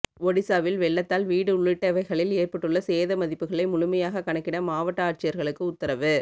ஒடிசாவில் வெள்ளத்தால் வீடு உள்ளிட்டவைகளில் ஏற்பட்டுள்ள சேத மதிப்புகளை முழுமையாக கணக்கிட மாவட்ட ஆட்சியர்களுக்கு உத்தரவு